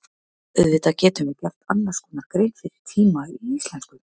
Auðvitað getum við gert annars konar grein fyrir tíma í íslensku.